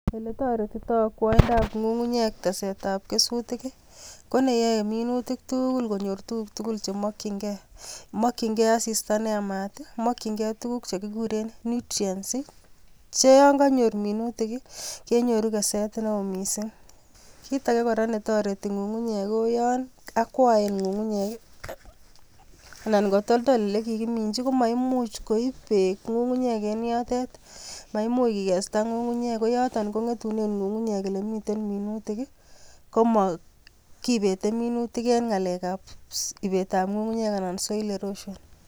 Ole toretito akwaindab ngungunyek tesetab kesutik ii, koneyae munutik tugul konyor tuguk tugul che makyinge. Makyinge asista neyamat ii, makyinge tuguk che kuguren nutrients che yon kanyor minutik, kenyoru keset neo mising. Kit age ne toreti ngungunyek ko yon akwoen ngungunyek ii anan ko toldol olekigiminji komaimuch koip beek ngungunyek en yotet. Maimuch kigesta ngungunyek ko yoton ko ngetunen ngungunyek ole miten minutik ii koma kipete minutik en ngalekab ipetab ngungunyek ana soil erosion.